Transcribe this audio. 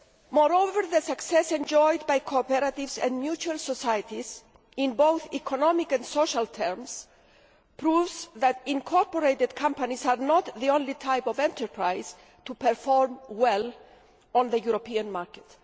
Moreover, the success enjoyed by cooperatives and mutual societies, in both economic and social terms, proves that incorporated companies are not the only type of enterprise to perform well on the European market.